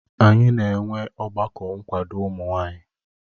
Anyị na-enwe ọgbakọ nkwado ụmụ nwanyị